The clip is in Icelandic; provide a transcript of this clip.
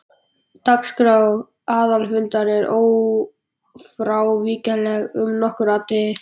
Dagskrá aðalfundar er ófrávíkjanleg um nokkur atriði.